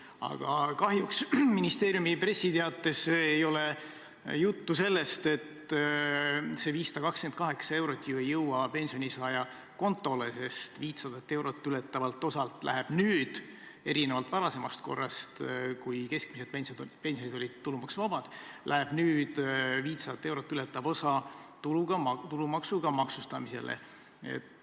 Aga kahjuks ministeeriumi pressiteates ei ole juttu sellest, et see 528 eurot ju ei jõua pensionisaaja kontole, sest erinevalt varasemast korrast, kui keskmised pensionid olid tulumaksuvabad, läheb nüüd 500 eurot ületav osa tulumaksuga maksustamisele.